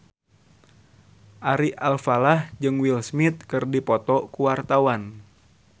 Ari Alfalah jeung Will Smith keur dipoto ku wartawan